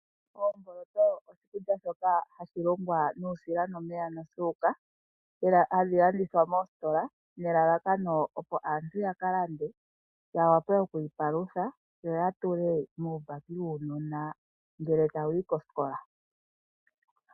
Oomboloto oshikulya shoka hashi lungwa nuusila, omeya nosuuka. Ohadhi landithwa moositola nelalakano aantu ya ka lande ya wape oku ipalutha, yo ya tule muubaki wuunona ngele tawu yi kosikola.